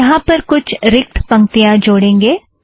यहाँ पर कुछ रिक्त पंक्तियाँ जोड़ेंगे